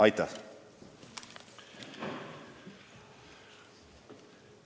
Aitäh!